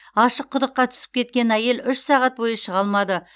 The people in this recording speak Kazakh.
ашық құдыққа түсіп кеткен әйел үш сағат бойы шыға алмады